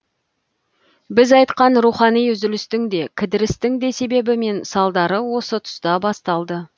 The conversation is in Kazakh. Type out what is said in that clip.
біз айтқан рухани үзілістің де кідірістің де себебі мен салдары осы тұста басталды